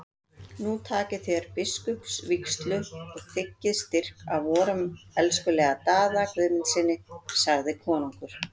Nú takið þér biskupsvígslu og þiggið styrk af vorum elskulega Daða Guðmundssyni, sagði konungur.